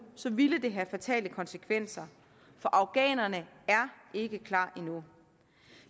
ville det have fatale konsekvenser for afghanerne er ikke klar endnu